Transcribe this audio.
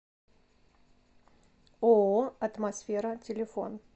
ооо атмосфера телефон